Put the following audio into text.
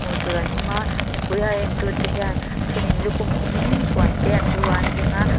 hmuh tur an awm a mipui a en tu te hian a then in lukhum khum in puan te an lu ah an veng a.